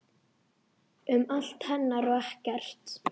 Um allt hennar og ekkert.